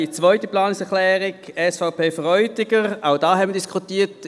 Auch die zweite Planungserklärung SVP/Freudiger haben wir diskutiert.